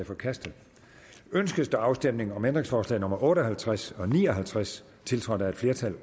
forkastet ønskes der afstemning om ændringsforslag nummer otte og halvtreds og ni og halvtreds tiltrådt af et flertal